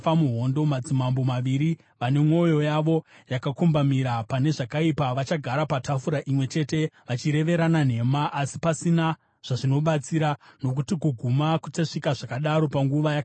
Madzimambo maviri, vane mwoyo yavo yakakombamira pane zvakaipa, vachagara patafura imwe chete vachireverana nhema, asi pasina zvazvinobatsira, nokuti kuguma kuchasvika zvakadaro panguva yakatarwa.